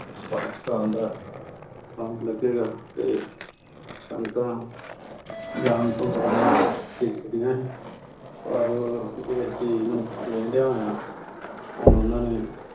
ਪਾਕਿਸਤਾਨ ਦਾ ਲੱਗੇਗਾ ਤੇ ਸੰਗਤਾਂ ਜਾਣ ਤੋਂ ਥੋੜ੍ਹਾ ਜਿਹਾ ਝਿਝਕਦੀਆਂ ਸੀ ਪਰ ਇਸ ਚੀਜ਼ ਨੂੰ ਲੈਂਦਿਆਂ ਹੋਇਆਂ ਹੁਣ ਉਹਨਾਂ ਨੇ